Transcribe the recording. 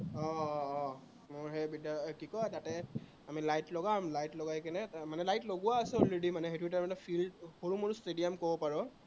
আহ আহ মোৰ সেই বিদ্য়ালয়, আহ কি কয়, তাতে আমি light লগাম, light লগাই কিনে, মানে light লগোৱা আছে already মানে সেইটো তাৰমানে field সৰু মৰু stadium কব পাৰ